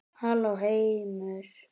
Halló heimur!